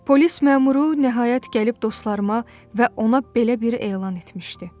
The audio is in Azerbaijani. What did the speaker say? Polis məmuru nəhayət gəlib dostlarıma və ona belə bir elan etmişdi.